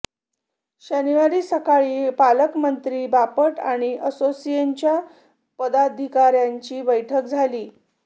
शनिवारी सकाळी पालकमंत्री बापट आणि असोसिएशनच्या पदाधिकाऱ्यांची बैठक झाली